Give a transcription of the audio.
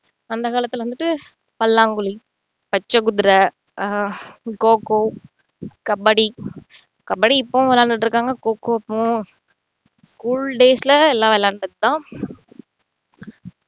அந்த காலத்துல வந்துட்டு பல்லாங்குழி, பச்சை குதிரை, ஆஹ் கோக்கோ, கபடி கபடி இப்போவும் விளையாடிட்டு இருக்காங்க கோக்கோ இப்போவும் school days ல எல்லாம் விளையாண்டது தான்